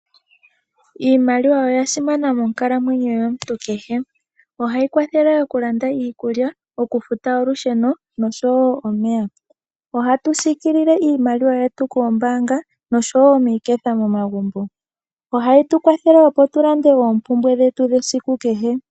Iimaliwa oyasimana monkalamwenyo yomuntu kehe, ohayi kwathele okulanda iikulya, okufuta olusheno, nosho wo omeya, ohatu siikilile iimaliwa yetu koombaanga nosho wo miiketha momagumbo. Ohayi tukwathele opo tulande oompumbwe dhetu dhesiku kehe.